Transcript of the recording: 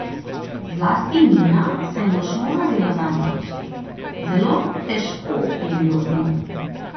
Zlasti Nina se je močno zavzela zanjo: "Zelo težko je bilo z njo.